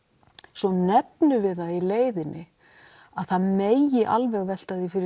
svo nefnum við það í leiðinni að það megi alveg velta því fyrir